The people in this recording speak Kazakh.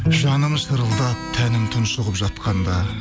жаным шырылдап тәнім тұншығып жатқанда